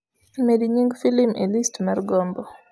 med nying filim e list mar gombo